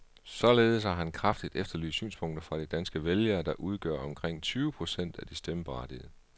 Således har han kraftigt efterlyst synspunkter fra de danske vælgere, der udgør omkring tyve procent af de stemmeberettigede.